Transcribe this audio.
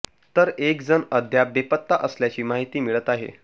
तर एक जण अद्याप बेपत्ता असल्याची माहिती मिळत आहे